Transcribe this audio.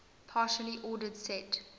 partially ordered set